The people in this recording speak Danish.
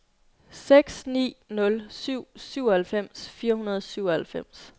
seks ni nul syv syvoghalvfems fire hundrede og syvoghalvfems